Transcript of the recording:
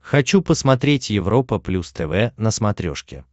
хочу посмотреть европа плюс тв на смотрешке